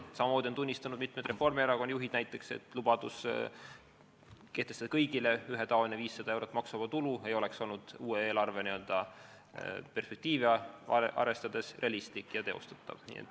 Samamoodi on tunnistanud näiteks mitmed Reformierakonna juhid, et lubadus kehtestada kõigile ühetaoliselt 500 eurot maksuvaba tulu ei oleks olnud uue eelarve perspektiive arvestades realistlik ega teostatav.